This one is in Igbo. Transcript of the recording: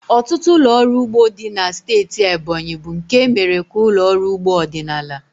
Ọtụtụ ụlọ ọrụ ugbo dị na steeti Ebonyi bụ nke e mere ka ụlọ ọrụ ugbo ọdịnala.